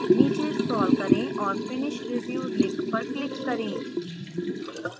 नीचे scroll करें और finish review link पर click करें